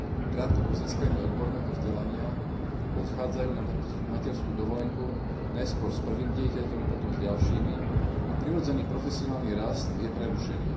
Krátko po získaní odborného vzdelania odchádzajú na materskú dovolenku, najskôr s prvým dieťaťom, potom s ďalšími, a prirodzený profesionálny rast je prerušený.